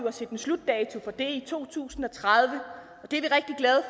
at sætte en slutdato for det i to tusind og tredive